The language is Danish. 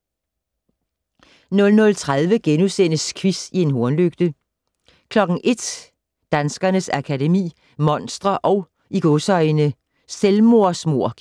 00:30: Quiz i en hornlygte * 01:00: Danskernes Akademi: Monstre & "Selvmordsmord" *